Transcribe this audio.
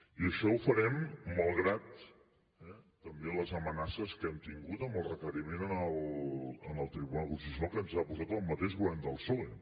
i això ho farem malgrat també les amenaces que hem tingut amb el requeriment en el tribunal constitucional que ens ha posat el mateix govern del psoe